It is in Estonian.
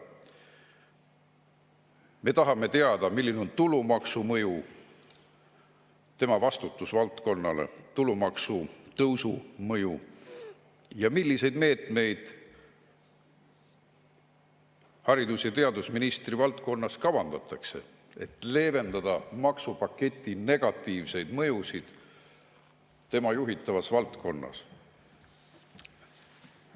Me tahame teada, milline on tulumaksu tõusu mõju ja milliseid meetmeid haridus‑ ja teadusministri valdkonnas kavandatakse, et leevendada maksupaketi negatiivseid mõjusid tema juhitavas valdkonnas.